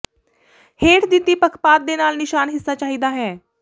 ਹੇਠ ਦਿੱਤੀ ਪੱਖਪਾਤ ਦੇ ਨਾਲ ਨਿਸ਼ਾਨ ਹਿੱਸਾ ਚਾਹੀਦਾ ਹੈ